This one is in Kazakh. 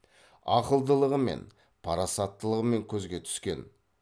ақылдылығымен парасаттылығымен көзге түскен